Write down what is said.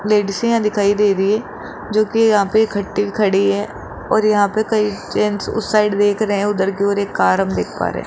लेडीसे यहां दिखाई दे रही है जो कि यहां पे इकट्ठे खड़ी हैं और यहां पे कई जेंट्स उस साइड देख रहे हैं उधर की ओर एक कार हम देख पा रहे हैं।